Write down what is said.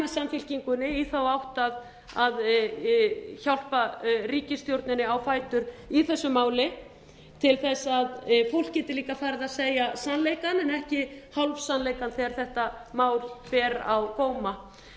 samfylkingarinnar í þá átt að hjálpa ríkisstjórninni á fætur í þessu máli til þess að fólk geti líka farið að segja sannleikann en ekki hálfsannleikann þegar þetta mál ber á góma það er